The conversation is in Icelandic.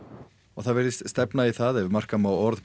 og það virðist stefna í það ef marka má orð